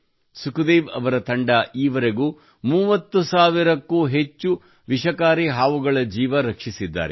ಸುಖ್ ದೇವ್ ಅವರ ಈ ತಂಡವು ಈವರೆಗೂ 30 ಸಾವಿರಕ್ಕೂ ಅಧಿಕ ವಿಷಕಾರಿ ಹಾವುಗಳ ಜೀವ ರಕ್ಷಿಸಿದ್ದಾರೆ